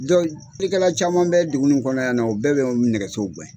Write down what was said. Donc jɛkɛla caman bɛ dugu in kɔnɔ yan na o bɛɛ bɛ ni nɛgɛsow